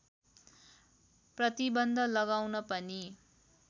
प्रतिबन्ध लगाउन पनि